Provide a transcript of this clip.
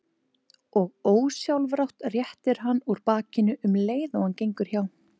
Og ósjálfrátt réttir hann úr bakinu um leið og hann gengur hjá.